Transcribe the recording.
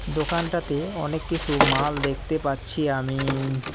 দোকানটাতে অনেক কিসু মাল দেখতে পাচ্ছি আমি।